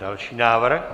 Další návrh.